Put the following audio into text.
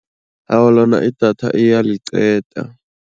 Awa, lona idatha iyaliqeda.